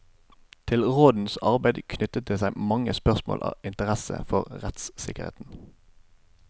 Til rådenes arbeid knyttet det seg mange spørsmål av interesse for rettssikkerheten.